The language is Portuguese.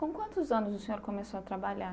Com quantos anos o senhor começou a trabalhar?